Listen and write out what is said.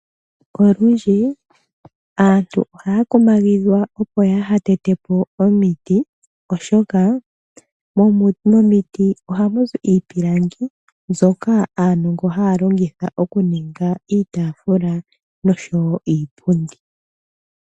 Olundji aantu ohaya kumagidhwa opo ya ha tete po omiti, oshoka momiti ohamu zi iipilangi mbyoka aanongo haya longitha okuninga iitaafula nosho wo iipundi.